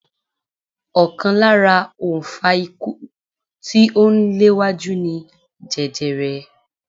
Ọ̀kan lára òǹfà ikú tí ó ń léwájú ni jẹjerẹ.